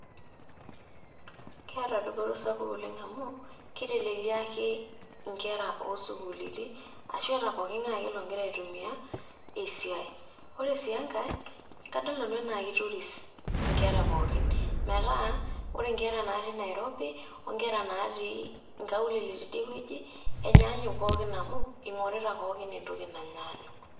Keeta dupoto sapuk oleng' amu, keiteleliaki inkera oo sukuuliti ashu ata pooking'ae logira ake aitumia esiai. Ore sii enkai, kadol nanu naake itoris inkera pookin metaa kore inkera naati Nairobi oong'era naati inkaulele tidiewueji enyaanyuk pookin amu ing'orita pookin entoki nanyaanyuk.